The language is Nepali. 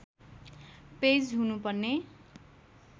पेज हुनुपर्ने